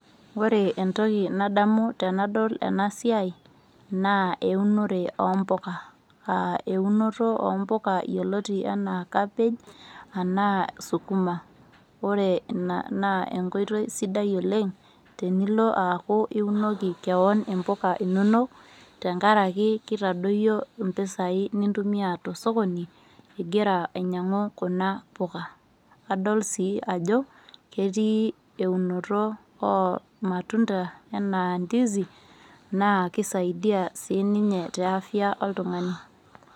Ore entoki nadamu tenadol ena siaai naa eunore oompuka. Aa eunoto oompuka yioloti anaa cabbage anaa sukuma. Ore ina naa enkoitoi sidai oleng tenilo aaku iunoki kewon impuka inonok tenkaraki kitadoyio impisai nintumia tosokoni igira ainyiangu kuna puka . Adol sii ajo ketii eunoto oo matunda enaa ndizi naa kisaidia sininye te afya oltungani .